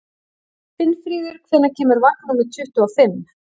Finnfríður, hvenær kemur vagn númer tuttugu og fimm?